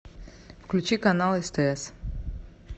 включи канал стс